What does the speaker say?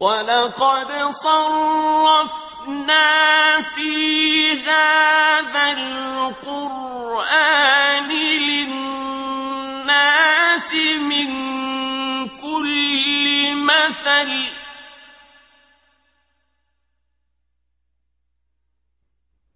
وَلَقَدْ صَرَّفْنَا فِي هَٰذَا الْقُرْآنِ لِلنَّاسِ مِن كُلِّ مَثَلٍ ۚ